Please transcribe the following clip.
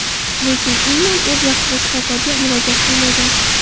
Lekin Inman o‘z vaqtida shifokorga murojaat qilmagan.